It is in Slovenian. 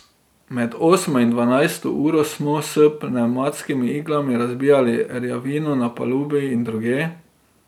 Med osmo in dvanajsto uro smo s pnevmatskimi iglami razbijali rjavino na palubi in drugje.